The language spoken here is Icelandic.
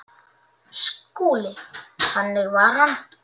SKÚLI: Þannig var hann.